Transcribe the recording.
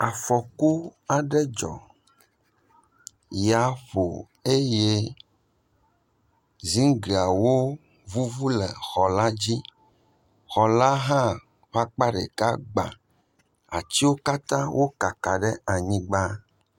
Afɔku aɖe dzɔ, ya ƒo eye ziŋgliawo vuvu le xɔla dzi. xɔla hã ƒe akpa ɖeka gbà. Atiwo katã wokaka ɖe anyigba.